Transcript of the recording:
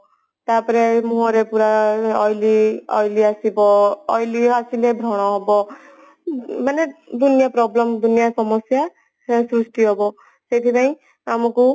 ତ ପର ମୁହଁ ରେ ପୁରା oily oily ଆସିବ oily ଆସିଲେ ବ୍ରଣ ହେବ ମାନେ ଦୁନିଆ problem ଦୁନିଆ ସମସ୍ଯା ପରାୟେ ସୃଷ୍ଟି ହେବ ସେଇଥିପାଇଁ ଆମକୁ